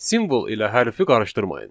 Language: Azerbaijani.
Simvol ilə hərfi qarışdırmayın.